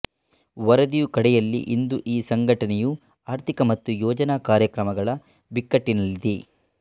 ವರದಿಯು ಕಡೆಯಲ್ಲಿ ಇಂದು ಈ ಸಂಘಟನೆಯು ಆರ್ಥಿಕ ಮತ್ತು ಯೋಜನಾ ಕಾರ್ಯಕ್ರಮಗಳ ಬಿಕ್ಕಟ್ಟಿನಲ್ಲಿದೆ